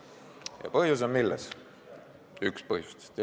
Ja mis on põhjus, üks põhjustest?